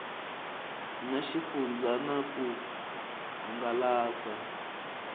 na xifundzha na ku hangalasa